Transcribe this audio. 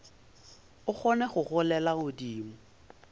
o kgone go golela godimo